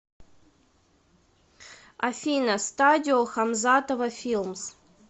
афина стадио хамзатова филмс